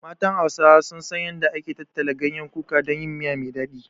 Matan Hausawa sun san yanda ake tattala ganyen kuka don yin miya me daɗi.